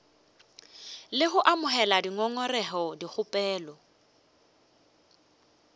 le go amogela dingongorego dikgopelo